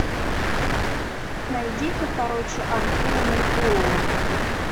найди ка короче артура меркулова